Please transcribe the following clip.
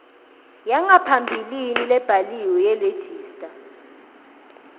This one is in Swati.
yangaphambilini lebhaliwe yeregistrar